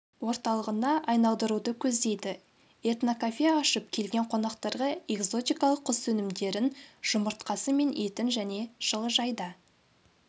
орталығына айналдыруды көздейді этнокафе ашып келген қонақтарға экзотикалық құс өнімдерін жұмыртқасы мен етін және жылыжайда